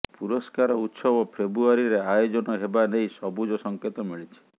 ପୁରସ୍କାର ଉତ୍ସବ ଫେବ୍ରୁଆରିରେ ଆୟୋଜନ ହେବା ନେଇ ସବୁଜ ସଙ୍କେତ ମିଳିଛି